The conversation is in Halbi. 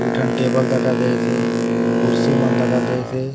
दुय टन टेबल दखा दयेसे कुर्सी मन दखा दयेसे।